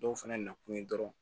Dɔw fɛnɛ nakun ye dɔrɔnw